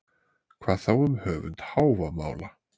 Hvað þá um höfund Hávamála?